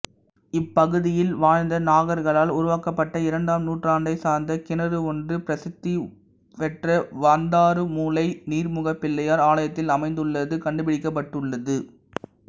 இப்பகுதியில் வாழ்ந்த நாகர்களால் உருவாக்கப்பட்ட இரண்டாம் நூற்றாண்டைச்சார்ந்த கிணறு ஒன்று பிரசித்தி பெற்ற வந்தாறுமூலை நீர்முகப்பிள்ளையார் ஆலயத்தில் அமைந்துள்ளது கண்டுபிடிக்கப்பட்டுள்ளது